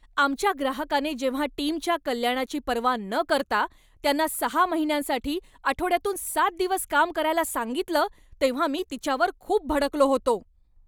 आमच्या ग्राहकाने जेव्हा टीमच्या कल्याणाची पर्वा न करता त्यांना सहा महिन्यांसाठी आठवड्यातून सात दिवस काम करायला सांगितलं तेव्हा मी तिच्यावर खूप भडकलो होतो.